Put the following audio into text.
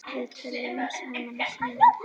Við töluðum saman í síma.